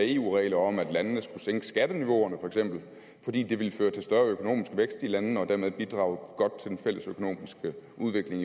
eu regler om at landene skulle sænke skatterneniveauerne fordi det ville føre til større økonomisk vækst i landene og dermed bidrage godt til den fælles økonomiske udvikling